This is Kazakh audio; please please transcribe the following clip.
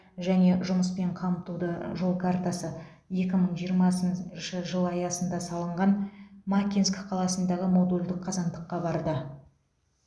және жұмыспен қамтуды жол картасы екі мың жиырмасыншы жыл аясында салынған макинск қаласындағы модульдік қазандыққа барды